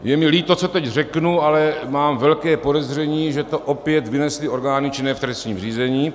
Je mi líto, co teď řeknu, ale mám velké podezření, že to opět vynesly orgány činné v trestním řízení.